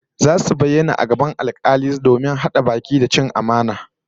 Zasu bayyana a gaban alkali domin hada baki da cin amana